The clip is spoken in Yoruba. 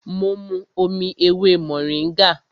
Mo mu omi ewé mòríngà